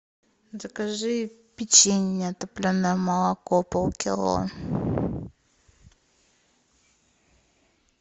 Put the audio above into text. закажи печенье топленое молоко полкило